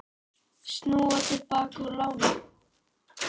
Snúa til baka úr láni